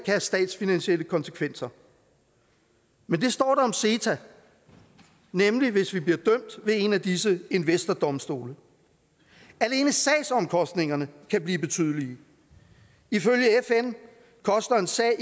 have statsfinansielle konsekvenser men det står der om ceta nemlig hvis vi bliver dømt ved en af disse investordomstole alene sagsomkostningerne kan blive betydelige ifølge fn koster en sag